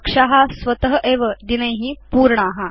कक्षा स्वत एव दिनै पूर्णा